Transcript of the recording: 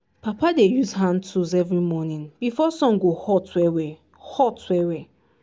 papa dey use hand tools every morning before sun go hot well-well. hot well-well.